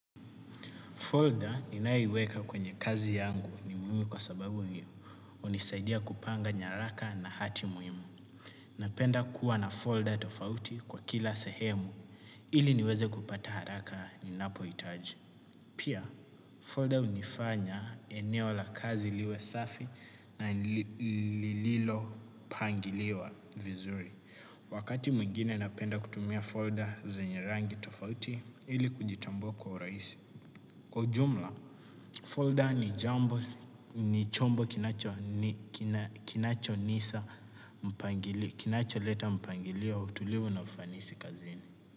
Folder ninaiweka kwenye kazi yangu ni muhimi kwa sababu unisaidia kupanga nyaraka na hati muhimu. Napenda kuwa na folder tofauti kwa kila sahemu ili niweze kupata haraka ninapoitaji. Pia, folder unifanya eneo la kazi liwe safi na lililo pangiliwa vizuri. Wakati mwingine napenda kutumia folder zenye rangi tofauti ili kujitambua kwa uraisi. Kwa ujumla, folder ni jambo, ni chombo kinacho nisa mpangili, kinacho leta mpangilio tulivu na ufanisi kazini.